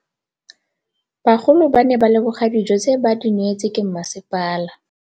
Bagolo ba ne ba leboga dijô tse ba do neêtswe ke masepala.